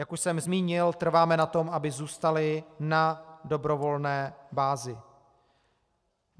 Jak už jsem zmínil, trváme na tom, aby zůstaly na dobrovolné bázi.